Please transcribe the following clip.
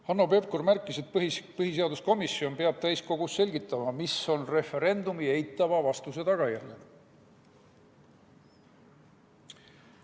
Hanno Pevkur märkis, et põhiseaduskomisjon peab täiskogus selgitama, mis on referendumi eitava vastuse tagajärjed.